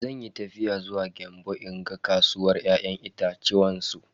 Zanyi tafiya zuwa Gembu in ga kasuwar ya'yan itatuwan su.